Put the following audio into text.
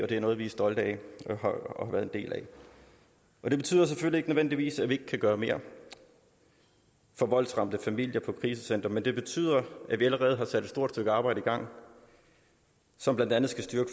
det er noget vi er stolte af at være en del af det betyder nødvendigvis ikke at vi ikke kan gøre mere for voldsramte familier på krisecentre men det betyder at vi allerede har sat et stort stykke arbejde i gang som blandt andet skal styrke